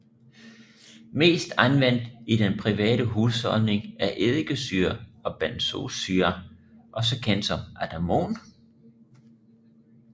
Mest anvendt i den private husholdning er eddikesyre og benzoesyre også kendt som Atamon